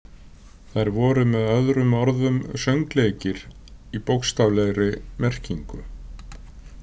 Þær voru með öðrum orðum „söngleikir“ í bókstaflegri merkingu.